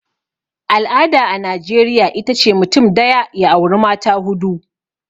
al'ada a najeriya ita ce mutum daya ya auri mata hudu